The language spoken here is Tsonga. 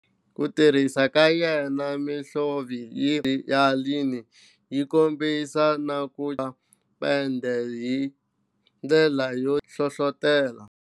Ku tirhisa ka yena mihlovo hi xivindzi, layini yo kombisa na ku cheriwa ka pende hi ndlela yo tiya swi hlohlotele mintlawa ya vutshila bya avant-garde kufana na Fauves na German Expressionists ekusunguleni ka lembe xidzana ravu 20.